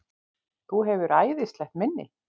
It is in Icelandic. Þú hefur æðislegt minni!